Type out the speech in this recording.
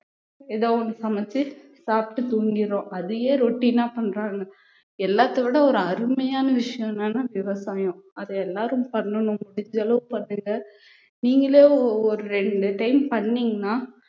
ஏதாவது ஒண்ணு சமைச்சு சாப்பிட்டு தூங்கிடுறோம் அதையே routine னா பண்றாங்க எல்லாத்தை விட ஒரு அருமையான விஷயம் என்னன்னா விவசாயம் அதை எல்லாரும் பண்ணணும் முடிஞ்ச அளவுக்கு பண்ணுங்க நீங்களே ஒரு ரெண்டு time பண்ணீங்கன்னா